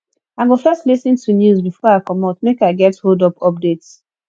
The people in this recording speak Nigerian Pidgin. i go first lis ten to news before i comot make i get holdup updates